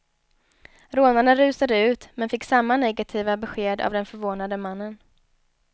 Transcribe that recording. Rånarna rusade ut, men fick samma negativa besked av den förvånade mannen.